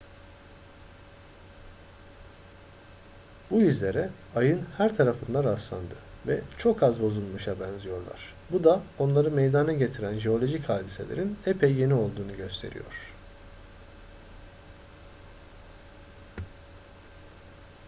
bu izlere ayın her tarafında rastlandı ve çok az bozulmuşa benziyorlar bu da onları meydana getiren jeolojik hadiselerin epey yeni olduğunu gösteriyor